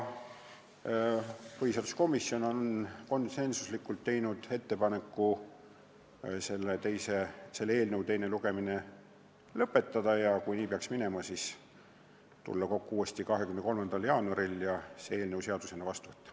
Põhiseaduskomisjon on konsensusega teinud ettepaneku eelnõu teine lugemine lõpetada ja kui nii peaks minema, siis tulla kokku uuesti 23. jaanuaril ja eelnõu seadusena vastu võtta.